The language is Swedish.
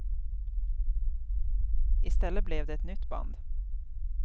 I stället blev det ett nytt band.